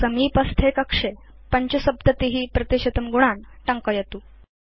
समीपस्थे कक्षे 75 गुणान् टङ्कयतु